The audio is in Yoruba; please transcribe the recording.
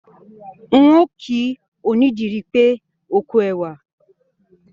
N ò kí onídìrí pé ókú ẹwà